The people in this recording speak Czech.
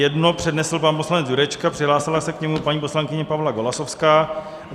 Jedno přednesl pan poslanec Jurečka, přihlásila se k němu paní poslankyně Pavla Golasowská.